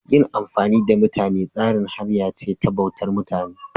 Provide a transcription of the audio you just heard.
Yin amfani da mutane tsari hanya ce ta bautar mutane.